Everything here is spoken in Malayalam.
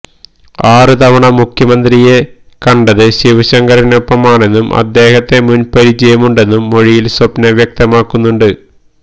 ആറ് തവണ മുഖ്യമന്ത്രിയെ കണ്ടത് ശിവശങ്കറിനൊപ്പമാണെന്നും അദ്ദേഹത്തെ മുൻ പരിചയമുണ്ടെന്നും മൊഴിയിൽ സ്വപ്ന വ്യക്തമാക്കുന്നുണ്ട്